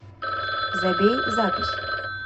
забей запись